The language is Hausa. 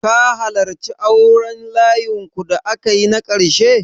Ka halarci auren layinku da aka yi na ƙarshe?